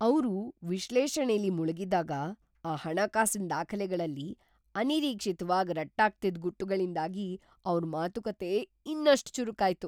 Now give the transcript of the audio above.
ಅವ್ರು ವಿಶ್ಲೇಷಣೆಲಿ ಮುಳ್ಗಿದ್ದಾಗ, ಆ ಹಣಕಾಸಿನ್ ದಾಖಲೆಗಳಲ್ಲಿ ಅನಿರೀಕ್ಷಿತ್ವಾಗ್‌ ರಟ್ಟಾಗ್ತಿದ್‌ ಗುಟ್ಟುಗಳಿಂದಾಗಿ ಅವ್ರ್‌ ಮಾತುಕತೆ ಇನ್ನಷ್ಟ್ ಚುರುಕಾಯ್ತು.